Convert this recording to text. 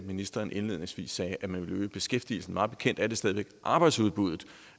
ministeren indledningsvis sagde at man ville øge beskæftigelsen mig bekendt er det stadig væk arbejdsudbuddet